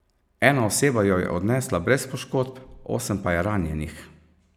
Ena oseba jo je odnesla brez poškodb, osem pa je ranjenih.